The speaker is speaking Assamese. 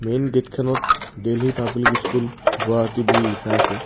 মেইন গেটখনত দেল্লী পাব্লিক স্কুল গুৱাহাটী বুলি লিখা আছে।